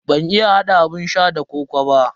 Ban iya hada abun sha da kokoo ba.